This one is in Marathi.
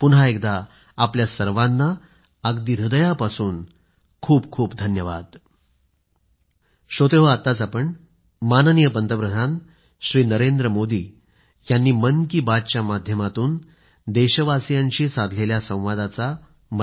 पुन्हा एकदा आपल्या सर्वांना अगदी हृदयापासून खूप खूप धन्यवाद